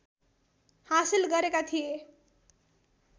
हासिल गरेका थिए।